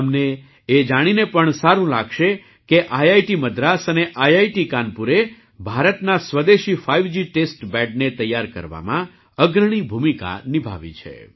તમને એ જાણીને પણ સારું લાગશે કે આઈઆઈટી મદ્રાસ અને આઈઆઈટી કાનપુરે ભારતના સ્વદેશી ફાઇવજી ટેસ્ટ બૅડને તૈયાર કરવામાં અગ્રણી ભૂમિકા નિભાવી છે